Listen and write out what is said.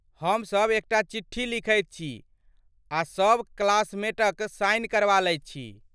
हम सभ एकटा चिट्ठी लिखैत छी आ सभ क्लासमेटक साइन करवा लैत छथि।